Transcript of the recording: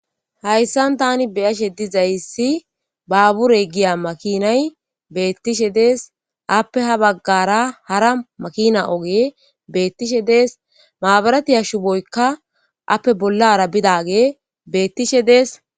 Hayssan tani beyashe dizayssi baaburey giya makinay beettishe dees appe ha baggara hara makina oge beettishe dees maabarati shuboyika appe bollara bidage beettishe dees.